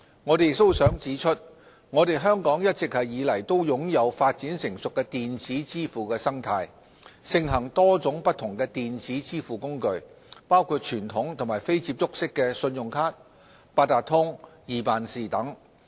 我們亦想指出，香港一直以來都擁有發展成熟的電子支付生態，盛行多種不同的電子支付工具，包括傳統及非接觸式信用卡、八達通、易辦事等。